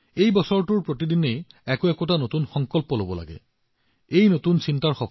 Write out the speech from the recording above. এই বছৰটোত আমি প্ৰতিদিনে নতুন সংকল্প লব লাগিব নতুন চিন্তা কৰিব লাগিব আৰু নতুন কিবা কৰাৰ আমাৰ মনোভাৱ বৃদ্ধি কৰিব লাগিব